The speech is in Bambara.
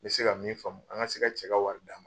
N bɛ se ka min faamu, an ka se ka cɛ ka wari d'a ma.